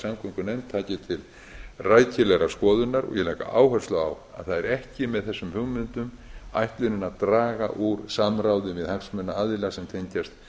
samgöngunefnd taki til rækilegrar skoðunar og ég legg áherslu á að með þessum hugmyndum er ekki ætlunin að draga úr samráði við hagsmunaaðila sem tengjast